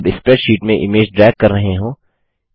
जब स्प्रैडशीट में image drag कर रहे हों